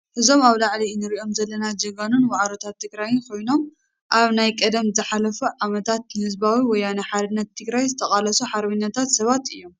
እዞም ኣብ ላዓሊ እንሪኦም ዘለና ጀጋኑን ዋዕሮታትን ትግራይ ኮይኖም፤ ኣብ ናይ ቀደምን ዝሓለፉ ዓመታት ንህዝባዊ ወያነ ሓርነት ትግራይ ዝተቃለሱ ሓርበኛታት ሰባት እዮም።